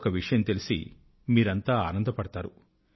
ఒక విషయం తెలిసి మీరంతా ఆనందపడగలరు